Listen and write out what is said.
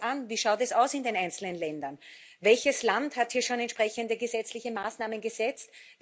Wir schauen uns an, wie es in den einzelnen Ländern ausschaut Welches Land hat hier schon entsprechende gesetzliche Maßnahmen gesetzt?